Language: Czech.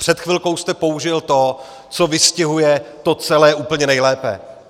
Před chvilkou jste použil to, co vystihuje to celé úplně nejlépe.